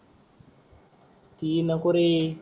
ती नको रे.